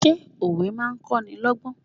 Ṣé òwe máa ń kọ́nilọ́gbọ́n?